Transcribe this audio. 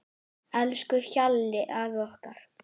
Elsku Hjalli afi okkar.